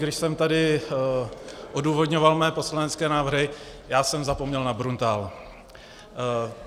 Když jsem tady odůvodňoval své poslanecké návrhy, já jsem zapomněl na Bruntál.